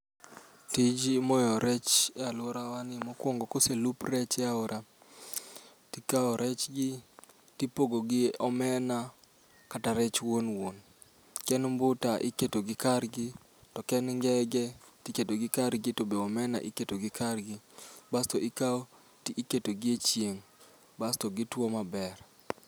Tij moyo rech e alworawa ni mokwongo koselup rech e aora, tikawo rech gi tipogo gi omena kata rech wuon wuon. Ke en mbuta iketo gi kargi, to ke en ngege tiketogi kargi to be omena iketo gi kargi. Basto ikawo to iketo gi echieng', basto gitwo maber.